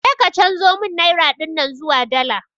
Je ka chanzo mun naira dinnan zuwa dala